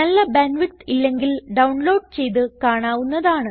നല്ല bandwidth ഇല്ലെങ്കിൽ download ചെയ്ത് കാണാവുന്നതാണ്